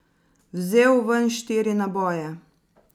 Vzel ven štiri naboje.